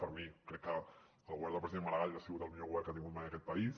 per mi crec que el govern del president maragall ha sigut el millor govern que ha tingut mai aquest país